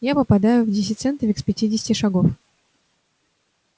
я попадаю в десятицентовик с пятидесяти шагов